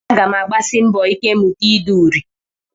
Aga m agbasi mbọ ike mụta ide uri